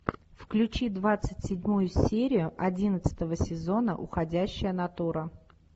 включи двадцать седьмую серию одиннадцатого сезона уходящая натура